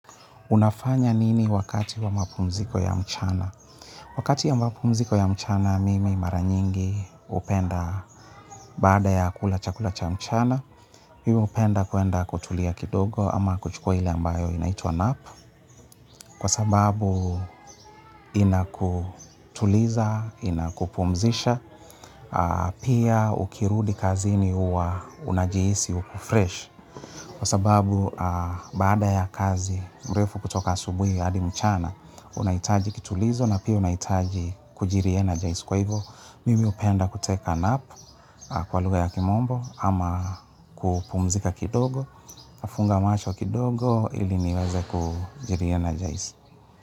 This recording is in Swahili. Unafanya nini wakati wa mapumziko ya mchana? Wakati ya mapumziko ya mchana, mimi mara nyingi hupenda baada ya kula cha kula cha mchana. Mimi hupenda kuenda kutulia kidogo ama kuchukua ili ambayo inaituwa nap. Kwa sababu inakutuliza, inakupumzisha, pia ukirudi kazini huwa unajihisi, uko fresh. Sababu baada ya kazi mrefu kutoka asubuhi hadi mchana unahitaji kitulizo na pia unahitaji kujireenergize. Mimi hupenda kutake a nap kwa lugha ya kimombo ama kupumzika kidogo, nafunga macho kidogo ili niweze kujilienergize.